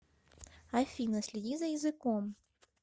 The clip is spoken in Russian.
афина следи за языком